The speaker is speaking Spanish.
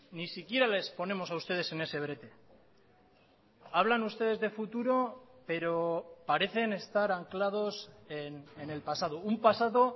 ni siquiera les ponemos a ustedes en ese brete hablan ustedes de futuro pero parecen estar anclados en el pasado un pasado